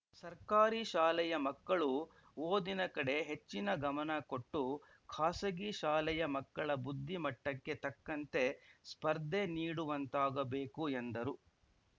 ಸರ್ಕಾರಿ ಶಾಲೆಯ ಮಕ್ಕಳು ಓದಿನ ಕಡೆ ಹೆಚ್ಚಿನ ಗಮನಕೊಟ್ಟು ಖಾಸಗಿ ಶಾಲೆಯ ಮಕ್ಕಳ ಬುದ್ಧಿಮಟ್ಟಕ್ಕೆ ತಕ್ಕಂತೆ ಸ್ಪರ್ಧೆ ನೀಡುವಂತಾಗಬೇಕು ಎಂದರು